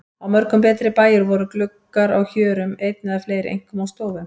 Á mörgum betri bæjum voru gluggar á hjörum einn eða fleiri, einkum á stofum.